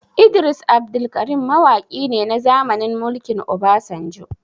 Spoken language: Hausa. Idris Abdulkarim mawaki ne na zamanin mulkin Obasanjo